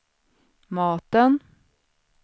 maten